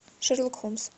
шерлок холмс